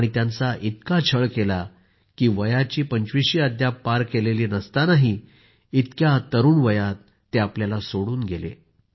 आणि त्यांचा इतका छळ केला की वयाने पंचविशी अद्याप पार केली नसतानाही इतक्या तरूण वयात ते आपल्याला सोडून गेले